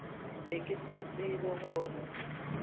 be ke sa tsebe gore